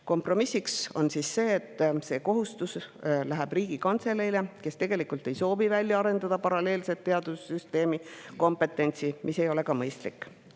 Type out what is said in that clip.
Kompromiss on see, et see kohustus läheb Riigikantseleile, kes aga tegelikult ei soovi välja arendada paralleelset teadussüsteemi kompetentsi, see ei ole ka mõistlik.